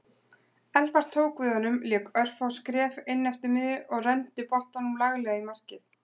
Elfar tók við honum lék örfá skref inneftir miðjunni og renndi boltanum laglega í markið.